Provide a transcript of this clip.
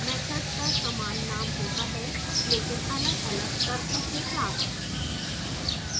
methods का समान name होता है लेकिन अलगअलग तर्कों के साथ